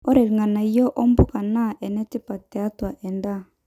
ore ilng'anayo o mpuka naa inetipat tiatua endaa